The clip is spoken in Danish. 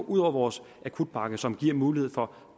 ud over vores akutpakke som giver mulighed for